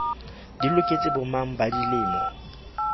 di loketse bomang ba dilemo